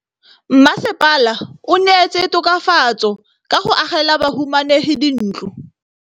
Mmasepala o neetse tokafatsô ka go agela bahumanegi dintlo.